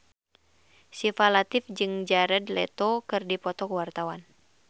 Syifa Latief jeung Jared Leto keur dipoto ku wartawan